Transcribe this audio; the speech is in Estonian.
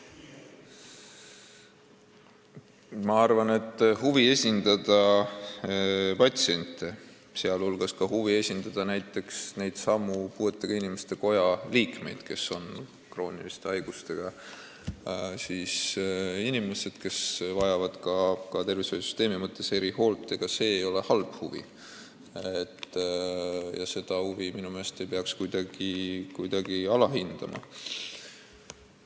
Ma arvan, et huvi esindada patsiente, sh huvi esindada näiteks neidsamu puuetega inimeste koja liikmeid, krooniliste haigustega inimesi, kes vajavad tervishoiusüsteemi erihoolt, ei ole halb huvi ja seda ei peaks minu meelest kuidagi alahindama.